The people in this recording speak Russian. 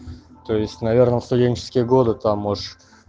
то есть наверное в студенческие годы там можешь